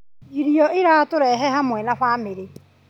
Irio ciratũrehe hamwe ta bamĩrĩ.